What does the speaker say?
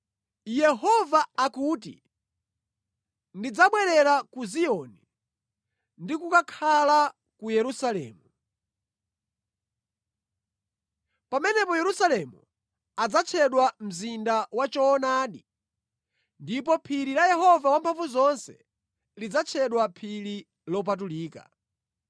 Yehova akuti, “Ndidzabwerera ku Ziyoni ndi kukakhala ku Yerusalemu. Pamenepo Yerusalemu adzatchedwa Mzinda wa Choonadi ndipo phiri la Yehova Wamphamvuzonse lidzatchedwa Phiri Lopatulika.”